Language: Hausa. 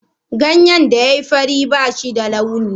Ganyen da ya yi fari ba shi da launi.